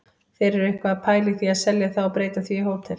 Þeir eru eitthvað að pæla í að selja það og breyta því í hótel.